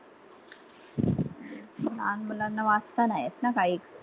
नहान मुलांना वाचता नाही येत ना काही.